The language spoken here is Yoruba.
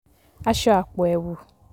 aṣọ àpò ẹ̀wù